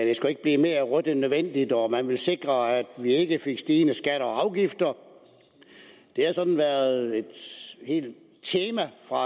det skulle ikke blive mere rødt end nødvendigt og man ville sikre at vi ikke fik stigende skatter og afgifter det har sådan været et helt tema fra